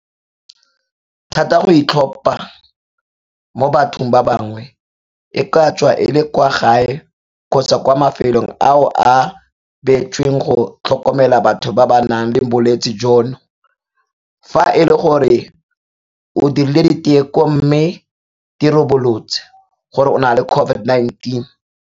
thata go itlhopha mo bathong ba bangwe, e ka tswa e le kwa gae kgotsa kwa mafelong ao a beetsweng go tlhokomela batho ba ba nang le bolwetse jono, fa e le gore o dirile diteko mme di ribolotse gore o na le COVID-19.